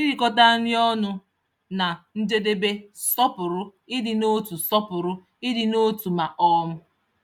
Irikọta nri ọnụ na njedebe sọpụrụ ịdị n'otu sọpụrụ ịdị n'otu ma um